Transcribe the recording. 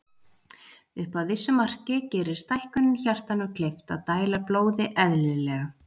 Upp að vissu marki gerir stækkunin hjartanu kleift að dæla blóði eðlilega.